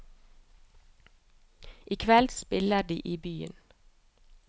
I kveld spiller de i byen.